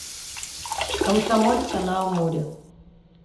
комсомольска на амуре